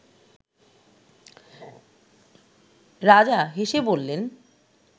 রাজা হেসে বললেন